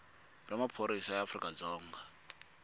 bya maphorisa ya afrika dzonga